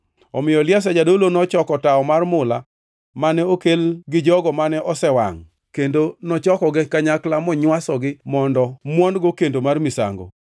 Omiyo Eliazar jadolo nochoko tawo mar mula mane okel gi jogo mane osewangʼ, kendo nochokogi kanyakla monywasogi mondo muon-go kendo mar misango,